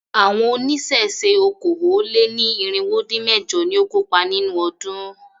Àwọn oníṣẹ̀ṣe okòó-lé-ní-irínwó-dín-mẹ̀jọ ni ó kópa nínú ọdún.